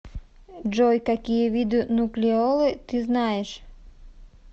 джой какие виды нуклеолы ты знаешь